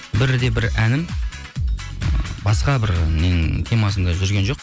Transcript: бірде бір әнім ы басқа бір ненің темасында жүрген жоқ